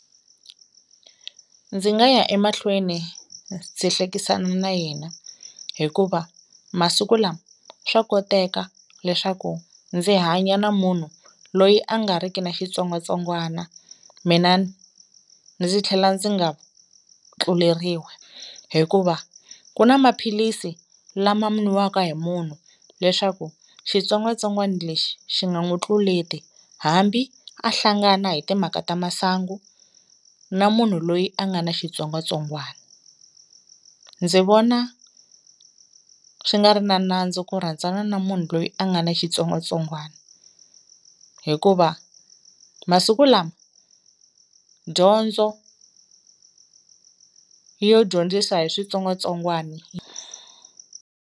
Ndzi nga ya emahlweni ndzi hlekisana na yena hikuva masiku lama swa koteka leswaku ndzi hanya na munhu loyi a nga ri ki na xitsongwatsongwana mina ndzi tlhela ndzi nga tluleriwi hikuva ku na maphilisi lama nwiwaka hi munhu leswaku xitsongwatsongwani lexi xi nga n'wu tluleti hambi a hlangana hi timhaka ta masangu na munhu loyi a nga ni xitsongwatsongwana, ndzi vona swi nga ri na nandzu ku rhandzana na munhu loyi a nga ni xitsongwatsongwana hikuva masiku lama dyondzo yo dyondzisa hi switsongwatsongwani.